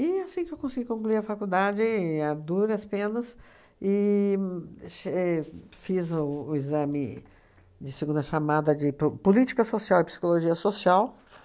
E assim que eu consegui concluir a faculdade, a duras penas, e ch e fiz o o exame de segunda chamada de Pro Política Social e Psicologia Social.